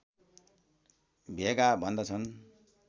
भेगा भन्दछन्